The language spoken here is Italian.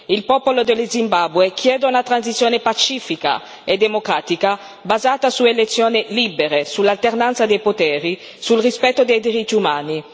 Il popolo dello Zimbabwe chiede una transizione pacifica e democratica basata su elezioni libere, sull'alternanza dei poteri, sul rispetto dei diritti umani.